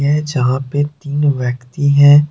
ये यहां पे तीन व्यक्ति हैं।